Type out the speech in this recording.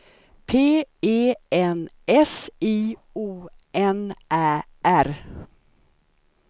P E N S I O N Ä R